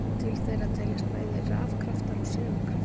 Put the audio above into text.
Til þeirra teljast bæði rafkraftar og segulkraftar.